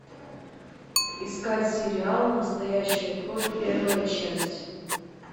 искать сериал настоящая кровь первая часть